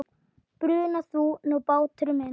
Bruna þú nú bátur minn.